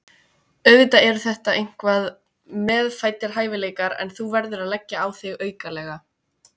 Auðvitað eru þetta eitthvað meðfæddir hæfileikar en þú verður að leggja á þig aukalega.